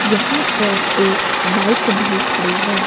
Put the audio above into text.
यहां पर एक बाइक भी खड़ी है।